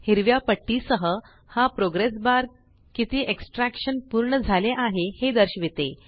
हिरव्या पट्टी सह हा प्रोग्रेस बार किती एक्सट्रॅक्टशन पूर्ण झाले आहे हे दर्शविते